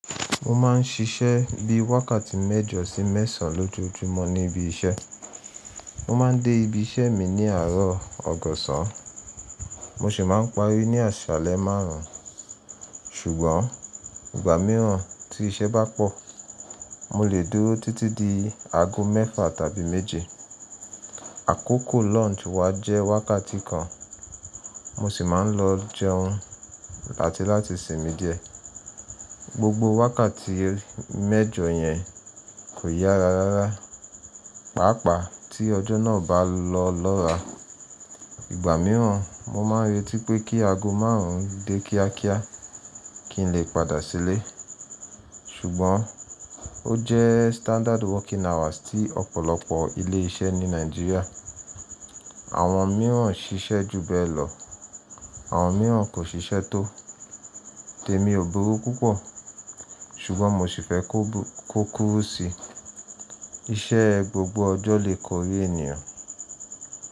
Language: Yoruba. Mo máa ń ṣiṣẹ́ bíi wákàtí mẹ́jọ sí mẹ́sàn-án lójoojúmọ́ ní ibi iṣẹ́. Mo máa ń dé ibi iṣẹ́ mi ní àárọ̀ ọgọ́sán, mo sì máa ń parí ní àsálẹ́ márùn-ún. Ṣùgbọ́n ìgbà mìíràn tí iṣẹ́ bá pọ̀, mo lè dúró títí di aago mẹ́fà tàbí méje. Àkókò lunch wa jẹ́ wákàtí kan, mo sì máa ń lọ jẹun áti láti sìnmi díẹ̀. Gbogbo wákàtí mẹ́jọ yẹn kò yára rárá, pàápàá tí ọjọ́ náà bá lọ lọ́ra. Ìgbà mìíràn mo máa n retí pé kí aago márùn-ún dé kíákíá kí n lè padà sílé. Ṣùgbọ́n ó jẹ́ standard working hours tí ọ̀pọ̀lọpọ̀ ilé iṣẹ́ ní Nàìjíríà. Àwọn mìíràn ṣiṣẹ́ jù bẹ́ẹ̀ lọ, àwọn mìíràn kò ṣiṣẹ́ tó. Tèmi ò burú púpọ̀, ṣùgbọ́n mo sì fẹ́ kó kúrúu síi. Iṣẹ́ gbogbo ọjọ́ lè kọrí ènìyàn.